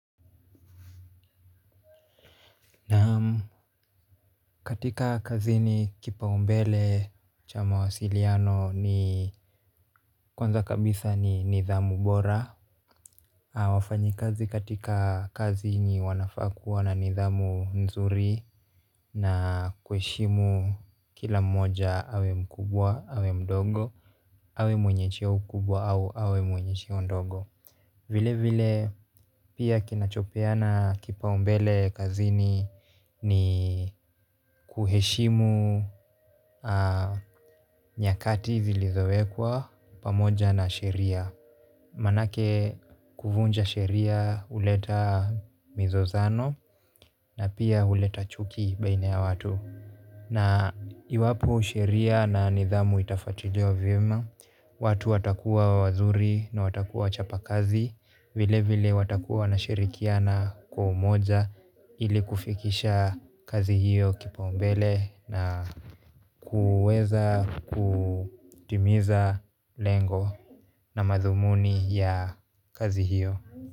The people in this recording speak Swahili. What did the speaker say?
Katika kazini kipaumbele cha mawasiliano ni kwanza kabisa ni nidhamu bora. Wafanyikazi katika kazini wanafaa kuwa na nidhamu nzuri na kuheshimu kila mmoja awe mkubwa, awe mdogo, awe mwenye cheo kubwa au awe mwenye cheo ndogo. Vile vile pia kinachopeana kipaumbele kazini ni kuheshimu nyakati zilizowekwa pamoja na sheria. Manake kuvunja sheria huleta mizozano na pia huleta chuki baina ya watu. Na iwapo sheria na nidhamu itafatiliwa vyema, watu watakuwa wazuri na watakuwa wachapa kazi. Vile vile watakuwa wanashirikiana kwa umoja ili kufikisha kazi hiyo kipaumbele na kuweza kutimiza lengo na madhumuni ya kazi hiyo.